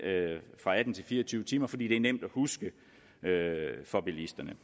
fra atten timer til fire og tyve timer fordi det er nemt at huske for bilisterne